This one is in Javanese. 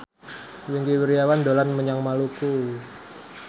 Wingky Wiryawan dolan menyang Maluku